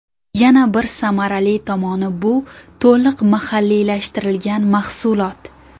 Yana bir samarali tomoni bu to‘liq mahalliylashtirilgan mahsulot.